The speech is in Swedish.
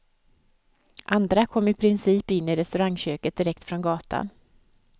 Andra kom i princip in i restaurangköket direkt från gatan.